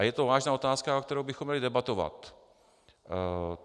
A je to vážná otázka, o které bychom měli debatovat.